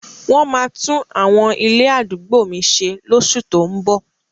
Wọ́n máa tún àwọn ilé àdúgbò mi ṣe lóṣù tó ún bọ̀.